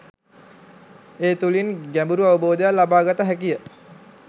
ඒ තුළින් ගැඹුරු අවබෝධයක් ලබා ගත හැකිය